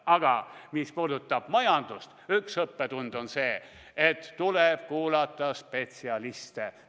Aga mis puudutab majandust, siis üks õppetund on see, et tuleb kuulata spetsialiste.